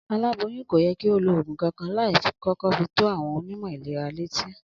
Aĺáboyún kò ye̩ kí ó lo ògùn kankan láì kó̩kó̩ fi tó àwo̩n onímò̩ ìlera létí